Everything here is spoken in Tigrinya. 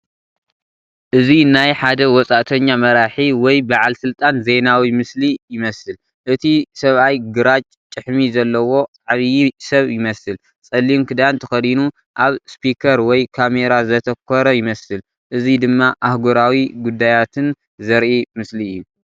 እዚ ናይ ሓደ ወጻእተኛ መራሒ ወይ በዓል ስልጣን ዜናዊ ምስሊ ይመስል። እቲ ሰብኣይ ግራጭ ጭሕሚ ዘለዎ ዓቢ ሰብ ይመስል። ጸሊም ክዳን ተኸዲኑ ኣብ ስፒከር ወይ ካሜራ ዘተኮረ ይመስል። እዚ ድማ ኣህጉራዊ ጉዳያትን ዘርኢ ምስሊ እዩ።